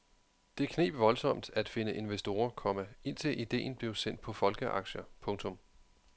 Det kneb voldsomt at finde investorer, komma indtil idéen blev sendt på folkeaktier. punktum